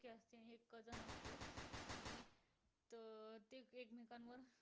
वर